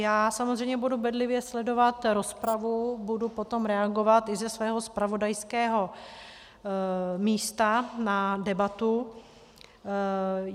Já samozřejmě budu bedlivě sledovat rozpravu, budu potom reagovat i ze svého zpravodajského místa na debatu.